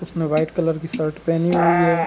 उसने white colour की shirt पहनी हुई है।